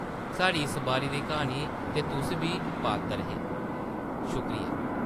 साढ़ी इस बारी दी क्हानी दे तुस बी पात्तर हे । शुक्रिया ।’’